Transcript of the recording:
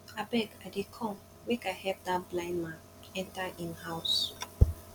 abeg i dey come make i help dat blind man enter im house